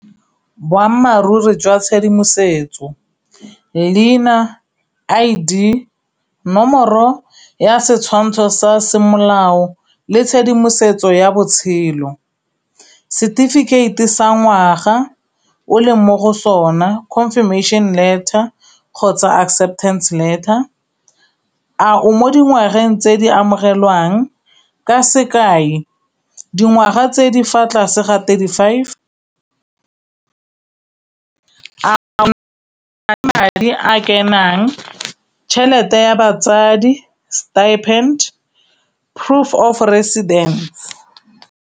Boammaaruri jwa tshedimosetso leina, I_D, nomoro ya setshwantsho sa semolao le tshedimosetso ya botshelo. Setefikeite sa ngwaga o leng mo go sona confirmation letter kgotsa acceptance letter. A o mo dingwageng tse di amogelwang ka sekai, dingwaga tse di fa tlase ga thirty five, madi a kenang, tšhelete ya batsadi, stippened, proof of residence.